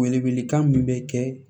Wele welekan min bɛ kɛ